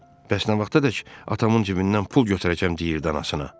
Bəs nə vaxtadək atamın cibindən pul götürəcəm deyirdi anasına.